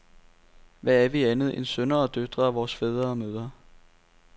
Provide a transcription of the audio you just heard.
Hvad er vi andet end sønner og døtre af vores fædre og mødre?